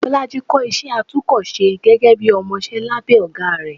bolàjí kò ísẹ àtúko-sẹ́ gege bi ọmọsẹ labe ogá ré